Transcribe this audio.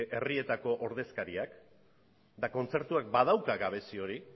herrietako ordezkariak eta kontzertuak badauka gabezi hori